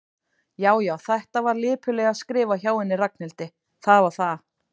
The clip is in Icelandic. Já, já, þetta var lipurlega skrifað hjá henni Ragnhildi, það var það.